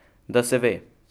Da se ve!